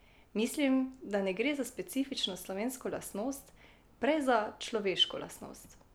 Mislim, da ne gre za specifično slovensko lastnost, prej za človeško lastnost.